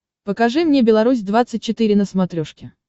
покажи мне беларусь двадцать четыре на смотрешке